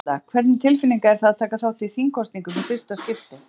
Erla: Hvernig tilfinning er það að taka þátt í þingkosningum í fyrsta skipti?